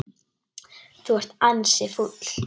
Þú ert ansi fúll.